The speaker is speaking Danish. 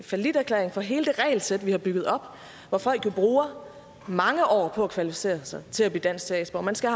falliterklæring for hele det regelsæt vi har bygget op hvor folk jo bruger mange år på at kvalificere sig til at blive dansk statsborger man skal